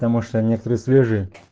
потому что некоторые свежие